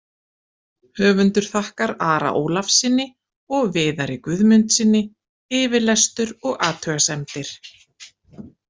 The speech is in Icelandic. Höfundur þakkar Ara Ólafssyni og Viðari Guðmundssyni yfirlestur og athugasemdir.